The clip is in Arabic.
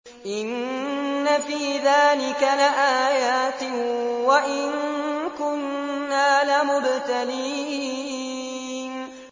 إِنَّ فِي ذَٰلِكَ لَآيَاتٍ وَإِن كُنَّا لَمُبْتَلِينَ